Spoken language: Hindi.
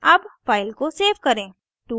अब file को सेव करें